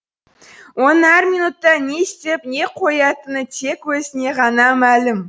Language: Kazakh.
оның әр минутта не істеп не қоятыны тек өзіне ғана мәлім